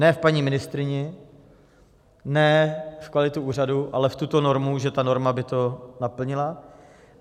Ne v paní ministryni, ne v kvalitu úřadu, ale v tuto normu, že ta norma by to naplnila.